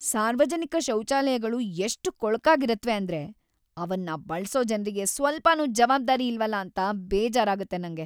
ಸಾರ್ವಜನಿಕ ಶೌಚಾಲಯಗಳು ಎಷ್ಟ್‌ ಕೊಳಕಾಗಿರತ್ವೆ ಅಂದ್ರೆ ಅವನ್ನ ಬಳ್ಸೋ ಜನ್ರಿಗೆ ಸ್ವಲ್ಪನೂ ಜವಾಬ್ದಾರಿ ಇಲ್ವಲ ಅಂತ ಬೇಜಾರಾಗತ್ತೆ ನಂಗೆ.